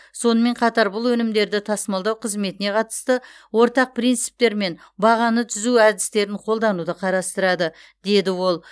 сонымен қатар бұл өнімдерді тасымалдау қызметіне қатысты ортақ принциптер мен бағаны түзу әдістерін қолдануды қарастырады деді ол